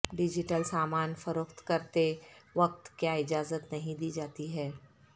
digital سامان فروخت کرتے وقت کیا اجازت نہیں دی جاتی ہے